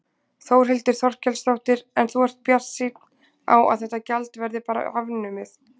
Þórhildur Þorkelsdóttir: En þú ert bjartsýnn á að þetta gjald verði bara afnumið?